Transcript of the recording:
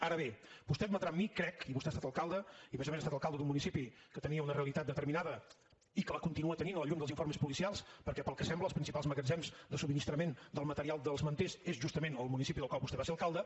ara bé vostè admetrà amb mi crec i vostè ha estat alcalde i a més a més ha estat alcalde d’un municipi que tenia una realitat determinada i que la continua tenint a la llum dels informes policials perquè pel que sembla els principals magatzems de subministrament del material dels manters són justament al municipi del qual vostè va ser alcalde